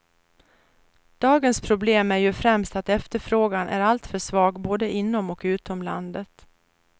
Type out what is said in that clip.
Dagens problem är ju främst att efterfrågan är alltför svag, både inom och utom landet.